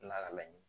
Lakali